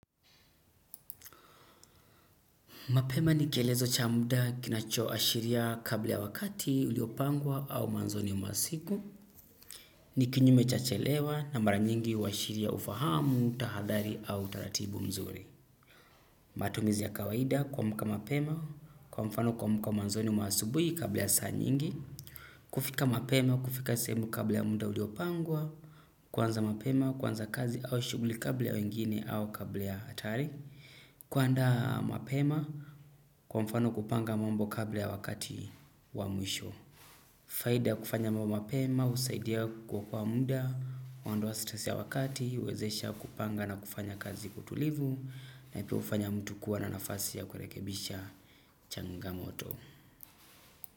Mapema ni kielezo cha muda kinachoa ashiria kabla ya wakati uliopangwa au mwanzoni mwa siku. Ni kinyume cha chelewa na mara nyingi huashiria ufahamu, tahadhari au utaratibu mzuri. Matumizi ya kawaida kuamka mapema, kwa mfano kuamka mwanzoni mwa asubuhi kabla ya saa nyingi. Kufika mapema, kufika sehemu kabla ya muda uliopangwa. Kuanza mapema, kuanza kazi au shuguli kabla ya wengine au kabla ya hatari. Kuandaa mapema kwa mfano kupanga mambo kabla ya wakati wa mwisho faida ya kufanya mambo mapema husaidia kuokoa muda. Huondoa stress ya wakati huwezesha kupanga na kufanya kazi kwa utulivu na pia hufanya mtu kuwa na nafasi ya kurekebisha changamoto.